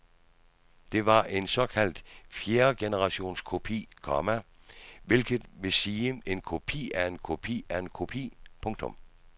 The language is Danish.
Filmen var en såkaldt fjerdegenerationskopi, komma hvilket vil sige en kopi af en kopi af en kopi. punktum